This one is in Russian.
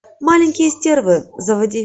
маленькие стервы заводи